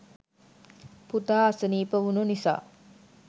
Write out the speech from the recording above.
පුතා අසනීප වුණු නිසා